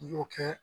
I y'o kɛ